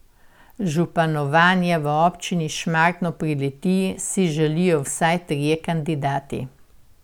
Županovanja v občini Šmartno pri Litiji si želijo vsaj trije kandidati.